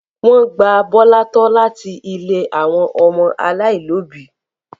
Wọ́n gba Bọ́lá tọ́ láti ilé àwọn ọmọ aláìlóòbí.